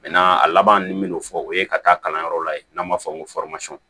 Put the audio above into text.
a laban n m'o fɔ o ye ka taa kalanyɔrɔ la n'an b'a fɔ ko